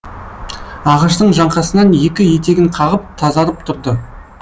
ағаштың жаңқасынан екі етегін қағып тазарып тұрды